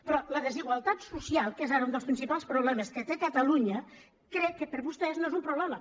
però la desigualtat social que és ara un dels principals problemes que té catalunya crec que per vostès no és un problema